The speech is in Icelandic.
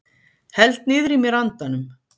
Held niðrí mér andanum.